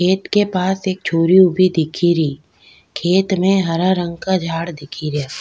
खेत के पास एक छोरी उभी दिखेरी खेत में हरा रंग का झाड़ दिखे रिया।